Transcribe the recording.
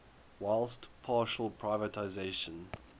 whilst partial privatisation